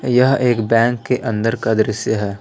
यह एक बैंक के अंदर का दृश्य है।